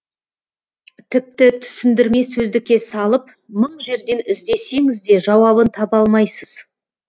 тіпті түсіндірме сөздікке салып мың жерден іздесеңіз де жауабын таба алмайсыз